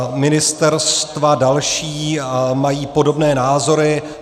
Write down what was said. Ministerstva další mají podobné názory.